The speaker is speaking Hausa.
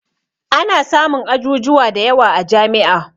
Ana samun ajujuwa da yawa a jami'a